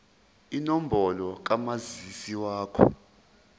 inombolo kamazisi wakho